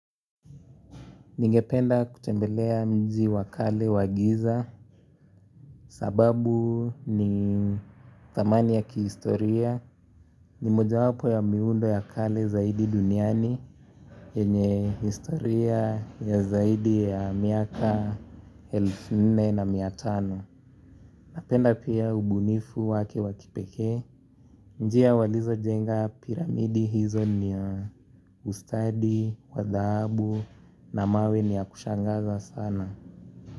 Ningependa kutembelea mji wa kale wagiza sababu ni thamani ya kihistoria. Ni moja wapo ya miundo ya kale zaidi duniani. Yenye historia ya zaidi ya miaka elfu nne na miatano. Napenda pia ubunifu wake wakipekee. Njia walizo jenga piramidi hizo ni ya ustadi, wadhabu na mawe ni ya kushangaza sana.